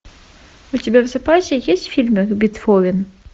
у тебя в запасе есть фильмы бетховен